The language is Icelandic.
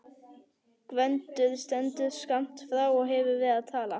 Gvendur stendur skammt frá og hefur verið að tala.